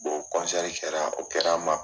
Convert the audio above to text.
kɛra o kɛra ma